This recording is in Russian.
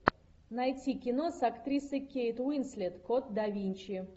найти кино с актрисой кейт уинслет код да винчи